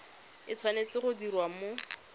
e tshwanetse go diriwa mo